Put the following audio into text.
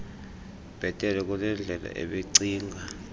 bhetele kunendlela ebecinga